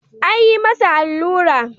An yi masa allura.